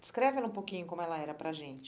Descreve ela um pouquinho como ela era para a gente.